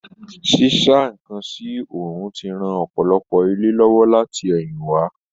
Sísá nkán sí òòrùn ti ran ọpọlọpọ ilé lówó láti ẹ̀yìn wá.